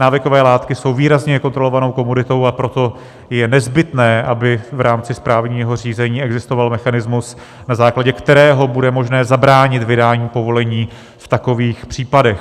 Návykové látky jsou výrazně kontrolovanou komoditou, a proto je nezbytné, aby v rámci správního řízení existoval mechanismus, na základě kterého bude možné zabránit vydání povolení v takových případech.